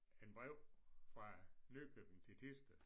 En brev fra Nøkken til Thisted